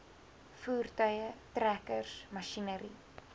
voertuie trekkers masjinerie